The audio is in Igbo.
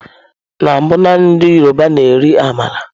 Na mbụ naanị ndị yọrọba na-eri ámàla.